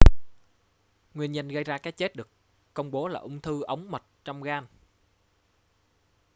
nguyên nhân gây ra cái chết được công bố là ung thư ống mật trong gan